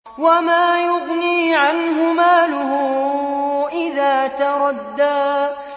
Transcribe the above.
وَمَا يُغْنِي عَنْهُ مَالُهُ إِذَا تَرَدَّىٰ